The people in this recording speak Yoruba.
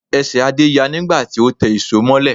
Ẹsẹ̀ Adé ya nígbà tí ó tẹ ìṣó mọ́lẹ̀